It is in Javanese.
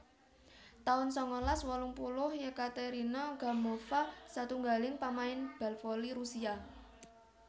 taun sangalas wolung puluh Yekaterina Gamova satunggaling pamain bal voli Rusia